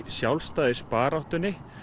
sjálfstæðisbaráttunni